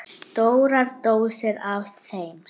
Stórar dósir af þeim.